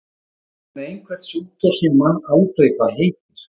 Hann er með einhvern sjúkdóm sem ég man aldrei hvað heitir.